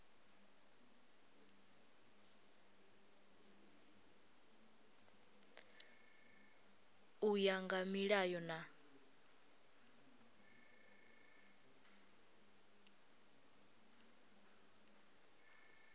u ya nga milayo na